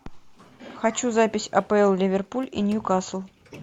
хочу запись апл ливерпуль и ньюкасл